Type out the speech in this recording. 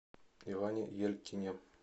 иване елькине